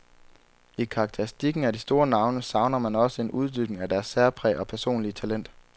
I karakteristikken af de store navne, savner man også en uddybning af deres særpræg og personlige talent.